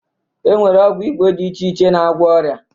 E nwere ọgwụ Igbo dị iche iche na-agwọ ọrịa